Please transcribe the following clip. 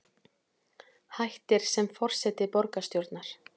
Hættir sem forseti borgarstjórnar